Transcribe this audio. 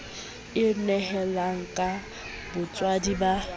e nehelang ka botswadi ba